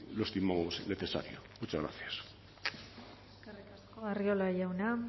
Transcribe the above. lo estimamos necesario muchas gracias eskerrik asko arriola jauna